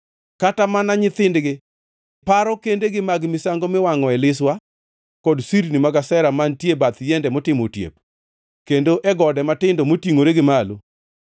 Kata mana nyithindgi paro kendegi mag misango miwangʼoe liswa, kod sirni mag Ashera mantie bath yiende motimo otiep, kendo e gode matindo motingʼore gi malo.